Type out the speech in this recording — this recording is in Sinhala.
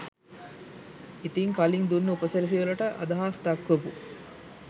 ඉතින් කලින් දුන්න උපසිරැසි වලට අදහස් දක්වපු